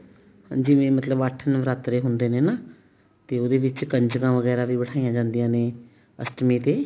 ਜਿਵੇਂ ਮਤਲਬ ਅੱਠ ਨਵਰਾਤਰੇ ਹੁੰਦੇ ਨੇ ਨਾ ਤੇ ਉਹਦੇ ਵਿੱਚ ਕੰਜਕਾਂ ਵੀ ਬਠਾਈਆਂ ਜਾਂਦੀਆਂ ਨੇ ਅਸ਼ਟਮੀ ਤੇ